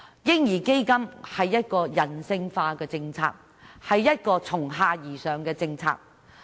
"嬰兒基金"是人性化、從下而上的政策。